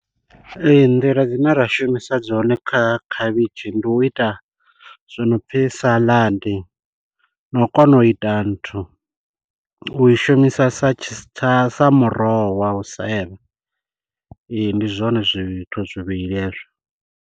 Ee, nḓila dzine ra shumisa dzone kha khavhishi, ndi u ita zwono pfi salad, na u kona u ita nthu, u i shumisa sa tshi sa muroho wa u sevha. Ee, ndi zwone zwithu zwivhili hezwo.